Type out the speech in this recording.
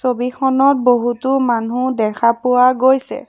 ছবিখনত বহুতো মানুহ দেখা পোৱা গৈছে।